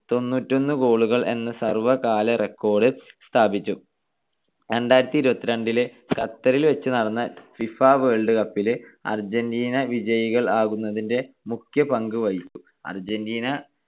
തൊണ്ണൂറ്റിയൊന്ന് goal കൾ എന്ന സർവ്വകാല record സ്ഥാപിച്ചു. രണ്ടായിരത്തിഇരുപത്തിരണ്ടിലെ ഖത്തറിൽ വച്ച് നടന്ന ഫിഫ വേൾഡ് കപ്പിലെ അർജൻ്റീന വിജയികൾ ആകുന്നതിന്റെ മുഖ്യ പങ്ക് വഹിച്ചു.